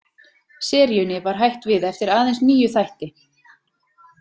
Seríunni var hætt við eftir aðeins níu þætti.